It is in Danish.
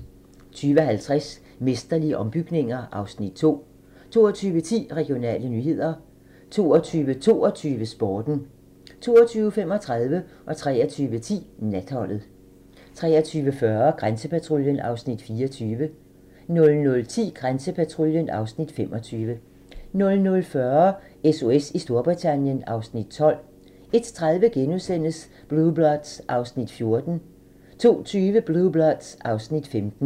20:50: Mesterlige ombygninger (Afs. 2) 22:10: Regionale nyheder 22:22: Sporten 22:35: Natholdet 23:10: Natholdet 23:40: Grænsepatruljen (Afs. 24) 00:10: Grænsepatruljen (Afs. 25) 00:40: SOS i Storbritannien (Afs. 12) 01:30: Blue Bloods (Afs. 14)* 02:20: Blue Bloods (Afs. 15)